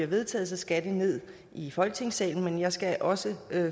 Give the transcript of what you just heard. vedtages så skal det ned i folketingssalen men jeg skal også